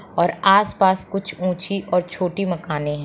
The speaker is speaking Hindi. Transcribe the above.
और आस-पास कुछ ऊंची और छोटी मकाने हैं।